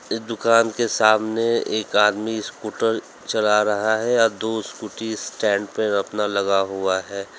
इस दुकान के सामने एक आदमी स्कूटर चला रहा है या दो स्कूटी स्टैंड पे अपना लगा हुआ है।